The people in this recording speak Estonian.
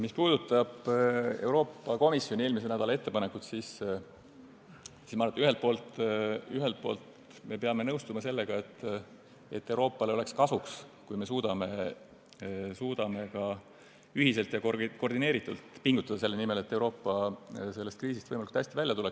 Mis puudutab Euroopa Komisjoni eelmise nädala ettepanekut, siis ma arvan, et ühelt poolt peame nõustuma sellega, et Euroopale oleks kasulik, kui suudaksime ühiselt ja koordineeritult pingutada selle nimel, et Euroopa kriisist võimalikult hästi välja tuleks.